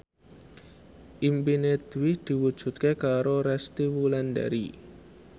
impine Dwi diwujudke karo Resty Wulandari